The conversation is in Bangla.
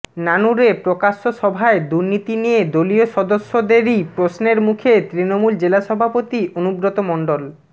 নানুরে প্রকাশ্য সভায় দুর্নীতি নিয়ে দলীয় সদস্যদেরই প্রশ্নের মুখে তৃণমূল জেলা সভাপতি অনুব্রত মণ্ডল